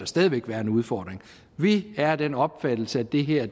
stadig væk være en udfordring vi er af den opfattelse at det her